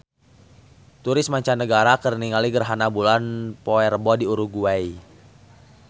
Turis mancanagara keur ningali gerhana bulan poe Rebo di Uruguay